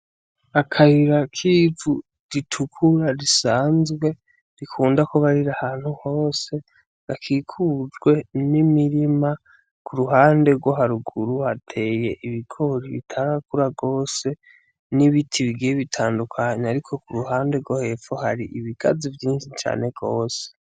Akayira k'ivu ritukura risanzwe rikunda kuba rir'ahantu hose hakikujwe n'imirima k'uruhande rwo harugura hateye ibigori bitarakura gose ,n'ibiti bigiye bitandukanye ariko k'uruhande rwo hepfo har'ibigazi vyinshi cane gose.